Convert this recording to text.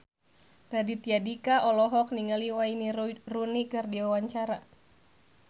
Raditya Dika olohok ningali Wayne Rooney keur diwawancara